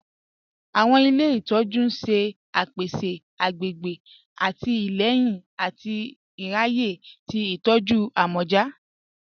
Awọn ilẹ̀ ìtọ̀jú n ṣẹ̀ pẹ̀sẹ̀ àgbègbè àtìlẹ̀yìn àti ìráyè sí ìtọ̀jú àmọ̀já